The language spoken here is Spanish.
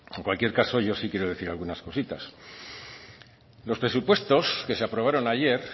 en cualquier caso yo sí quiero decir algunas cositas los presupuestos que se aprobaron ayer